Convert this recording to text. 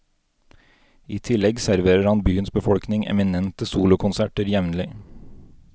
I tillegg serverer han byens befolkning eminente solokonserter jevnlig.